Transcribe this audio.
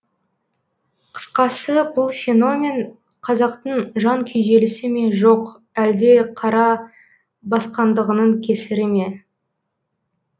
қысқасы бұл феномен қазақтың жан күйзелісі ме жоқ әлде қара басқандығының кесірі ме